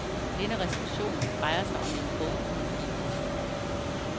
Denne reception drejer sig om en bogudgivelse.